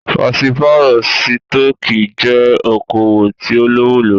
Pàṣípàrọ̀ sítọ̀kì jẹ́ okoòwò tí o lówó lórí.